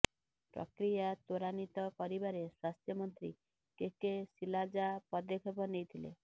ପ୍ରକ୍ରିୟା ତ୍ବରାନ୍ବିତ କରିବାରେ ସ୍ବାସ୍ଥ୍ୟମନ୍ତ୍ରୀ କେ କେ ଶିଲାଜା ପଦକ୍ଷେପ ନେଇଥିଲେ